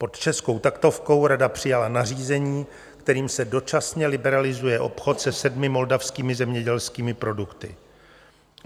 Pod českou taktovkou Rada přijala nařízení, kterým se dočasně liberalizuje obchod se sedmi moldavskými zemědělskými produkty.